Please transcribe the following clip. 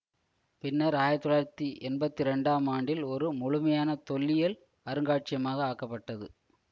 பின்னர் ஆயிரத்தி தொள்ளாயிரத்தி எம்பத்தி இரண்டாம் ஆண்டில் ஒரு முழுமையான தொல்லியல் அருங்காட்சியகமாக ஆக்கப்பட்டது